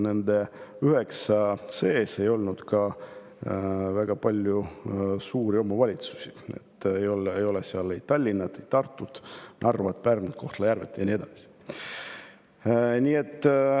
Nende 9 seas ei olnud väga palju suuri omavalitsusi, ei olnud Tallinna, Tartut, Narvat, Pärnut, Kohtla-Järvet ja nii edasi.